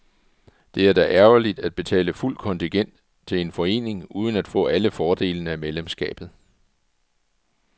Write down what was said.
Det er da ærgerligt at betale fuldt kontingent til en forening uden at få alle fordelene af medlemskabet.